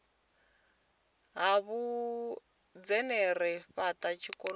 ha vhuinzhinere u fhata tshivhonakule